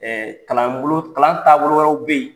Kalanbolo kalan taabolo wɛrɛw bɛ yen